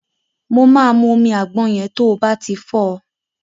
Mo máa mú omi àgbọn yẹn to bá ti fọ́ ọ.